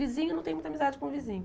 Vizinho não tem muita amizade com vizinho.